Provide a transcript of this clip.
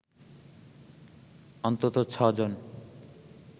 অন্তত ছ'জন